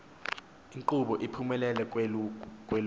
nkqubo iphumele kwelokuba